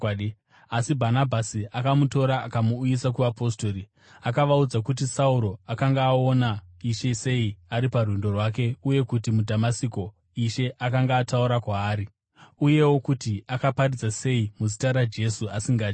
Asi Bhanabhasi akamutora akamuuyisa kuvapostori. Akavaudza kuti Sauro akanga aona Ishe sei ari parwendo rwake uye kuti muDhamasiko Ishe akanga ataura kwaari, uyewo kuti akaparidza sei muzita raJesu asingatyi.